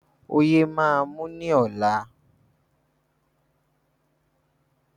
Ọyé máa mú ní ọ̀la.